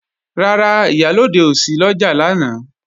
Rárá, Ìyálóde ò sí lọ́jà lánàá